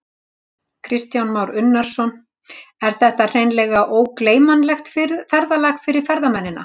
Kristján Már Unnarsson: Er þetta hreinlega ógleymanlegt ferðalag fyrir ferðamennina?